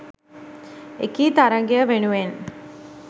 එකී තරඟය වෙනුවෙන්